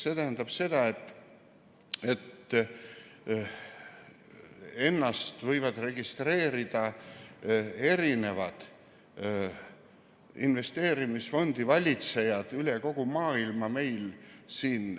See tähendab seda, et ennast võivad siin meil registreerida erisugused investeerimisfondide valitsejad üle kogu maailma.